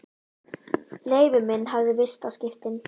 Leifur minn hafði vistaskiptin.